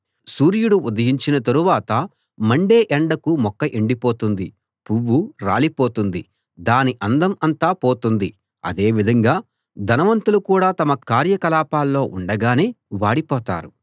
సూర్యుడు ఉదయించిన తరువాత మండే ఎండకు మొక్క ఎండిపోతుంది పువ్వు రాలిపోతుంది దాని అందం అంతా పోతుంది అదేవిధంగా ధనవంతులు కూడా తమ కార్యకలాపాల్లో ఉండగానే వాడిపోతారు